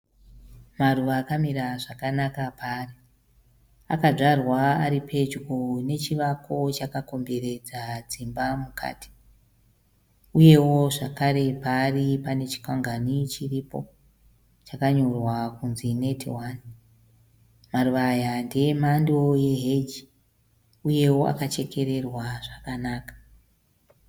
Maruva akamira zvakanaka paari. Adzwarwa ari pedyo nechivako chakakomberedza dzimba mukati . Uyewo zvakare paari pane chikwangwani chiripo chakanyorwa kunzi Net One. Maruva aya ndeemhando yeheji uyewo akachekererwa zvakanaka.